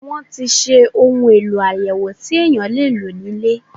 Wọ́n ti ṣe ohun èlò àyẹ̀wò tí èèyàn lè lò ní ilé.